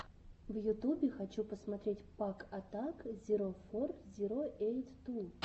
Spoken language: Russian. в ютубе хочу посмотреть пак атак зиро фор зиро эйт ту